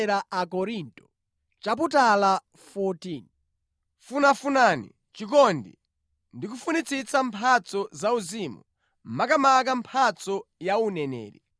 Funafunani chikondi, ndikufunitsitsa mphatso zauzimu, makamaka mphatso ya uneneri.